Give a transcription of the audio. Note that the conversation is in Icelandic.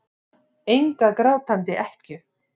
Enga grátandi ekkju.